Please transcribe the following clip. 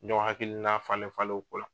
Ɲɔgɔn hakili na falen falen o ko la.